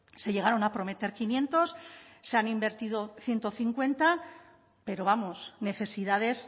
se llegaron a prometer quinientos se han invertido ciento cincuenta pero vamos necesidades